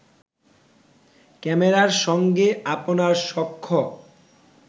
ক্যামেরার সঙ্গে আপনার সখ্য